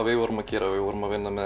við vorum að gera við vorum að vinna með